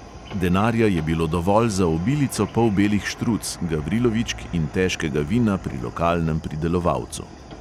Denarja je bilo dovolj za obilico polbelih štruc, gavrilovičk in težkega vina pri lokalnem pridelovalcu.